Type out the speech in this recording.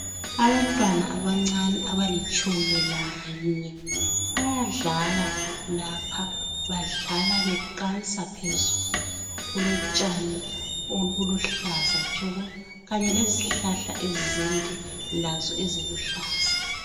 Abantwana abancani abalitshumi lanye bayadlala lapha badlala beqansa phezulu, kulotshani obuluhlaza tshoko kanye lezihlahla ezinde lazo eziluhlaza.